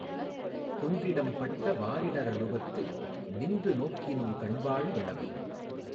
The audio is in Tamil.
குன்றிடம் பட்ட வாரிட ரழுவத்து நின்று நோக்கினுங் கண்வாள் வௌவு